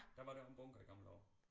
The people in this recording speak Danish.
Der var der jo en bunker i gamle dage